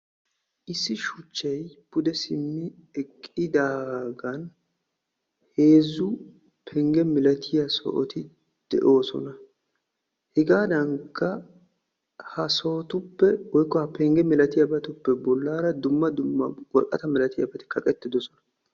Issi shuchchay pude siimmi eqqidaagan heezzu pengge milatiya sohoti de'oosona. Hegaadankka ha sohotuppe woykko ha pengge malatiyabatuppe bollaara dumma dumma worqata malatiyaabati kaqettidosona.